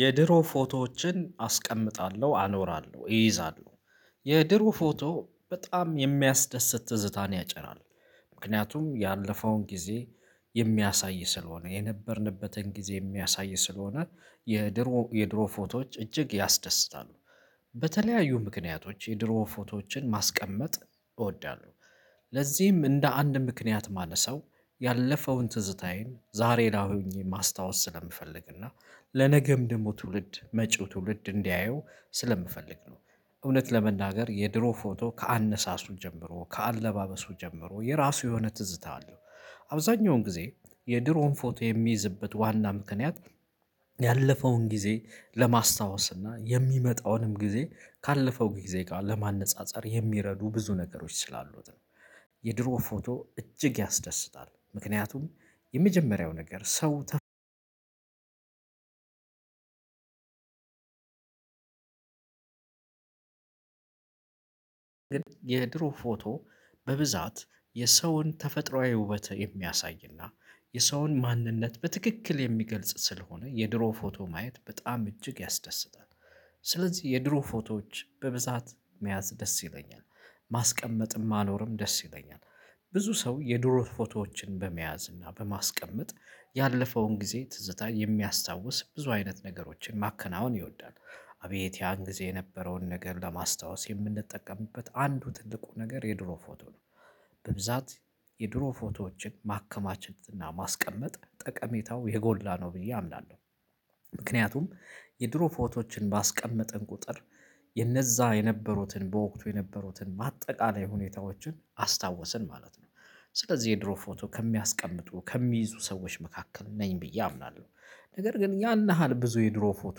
የድሮ ፎቶዎችን አስቀምጣለሁ፤ አኖራለሁ፤ እይዛለሁ የድሮ ፎቶ በጣም የሚያስደስት ትዝታን ያጭራል ምክንያቱም ያለፈውን ጊዜ የሚያሳይ ስለሆነ የነበርንበትን ጊዜ የሚያሳይ ስለሆነ የድሮ የድሮ ፎቶዎች እጅግ ያስደስታሉ። በተለያዩ ምክንያቶች የድሮ ፎቶዎችን ማስቀመጥ እወዳለሁ፤ ለዚህም እንደ አንድ ምክንያት ማነሰው ያለፈውን ትዝታዬን ዛሬ ላይ ሆኜ ማስታወስ ስለምፈልግና ለነገም ደግሞ ትውልድ መጪው ትውልድ እንዲያየው ስለምፈልግ ነው። እውነት ለመናገር የድሮ ፎቶ ከአነሳሱ ጀምሮ ከአለባበሱ ጀምሮ የራሱ የሆነ ትዝታ አለው። አብዛኛውን ጊዜ የድሮን ፎቶ የሚይዝበት ዋና ምክንያት ያለፈውን ጊዜ ለማስታወስ እና የሚመጣውንም ጊዜ ካለፈው ጊዜ ጋር ለማነፃፀር የሚረዱ ብዙ ነገሮች ስላሉት ነው፤ የድሮ ፎቶ እጅግ ያስደስታል ምክንያቱም የመጀመሪያው ነገር ሰው ግን የድሮ ፎቶ በብዛት የሰውን ተፈጥሮአዊ ውበት የሚያሳይና የሰውን ማንነት በትክክል የሚገልጽ ስለሆነ የድሮ ፎቶ ማየት በጣም እጅግ ያስደስታል፤ ስለዚህ የድሮ ፎቶዎች በብዛት መያዝ ደስ ይለኛል ማስቀመጥም ማኖርም ደስ ይለኛል። ብዙ ሰው የድሮ ፎቶዎችን በመያዝ እና በማስቀመጥ ያለፈውን ጊዜ ትዝታ የሚያስታውስ ብዙ አይነት ነገሮችን ማከናወን ይወዳል። አቤት ያን ጊዜ የነበረውን ነገር ለማስታወስ የምንጠቀምበት አንዱ ትልቁ ነገር የድሮ ፎቶ ነው። በብዛት የድሮ ፎቶዎችን ማከማቸት እና ማስቀመጥ ጠቀሜታው የጎላ ነው ብዬ አምናለሁ፤ ምክንያቱም የድሮ ፎቶዎችን ባስቀመጠን ቁጥር የነዛ የነበሩትን በወቅቱ የነበሩትን ማጠቃለያ ሁኔታዎችን አስታወስን ማለት ነው። ስለዚህ የድሮ ፎቶ ከሚያስቀምጡ ከሚይዙ ሰዎች መካከል ነኝ ብዬ አምናለሁ። ነገር ግን ያን ያሀል ብዙ የድሮ ፎቶ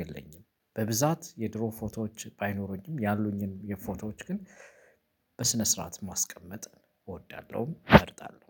የለኝም። በብዛት የድሮ ፎቶዎች ባይኖሩኝም ያሉኝን የፎቶዎች ግን በስነ ስርዓት ማስቀመጥ እወዳለሁ እመርጣለሁ።